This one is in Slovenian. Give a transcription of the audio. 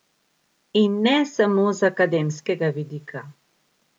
In ne samo z akademskega vidika!